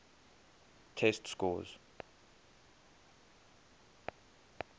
test scores